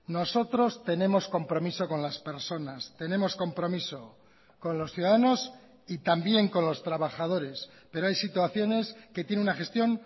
nosotros tenemos compromiso con las personas tenemos compromiso con los ciudadanos y también con los trabajadores pero hay situaciones que tiene una gestión